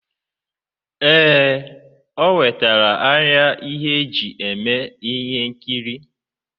Ee, o wetara arịa e ji eme ihe nkiri.